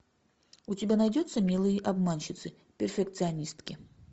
у тебя найдется милые обманщицы перфекционистки